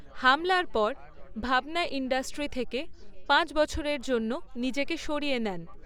হামলার পর ভাবনা ইন্ডাস্ট্রি থেকে পাঁচ বছরের জন্য নিজেকে সরিয়ে নেন।